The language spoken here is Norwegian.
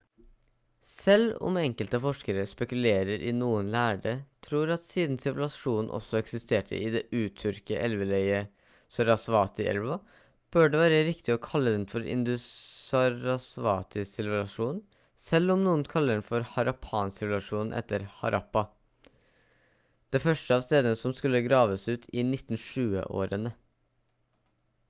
selv om enkelte forskere spekulerer i noen lærde tror at siden sivilisasjonen også eksisterte i det uttørkede elveleiet til sarasvati-elva bør det være riktig å kalle den for indus-sarasvati-sivilisasjonen selv om noen kaller den for harappan-sivilisasjonen etter harappa det første av stedene som skulle graves ut i 1920-årene